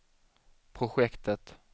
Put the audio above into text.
projektet